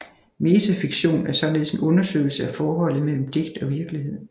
Metafiktion er således en undersøgelse af forholdet mellem digt og virkelighed